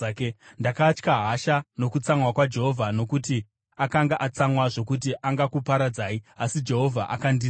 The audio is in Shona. Ndakatya hasha nokutsamwa kwaJehovha, nokuti akanga atsamwa zvokuti angakuparadzai. Asi Jehovha akandinzwa.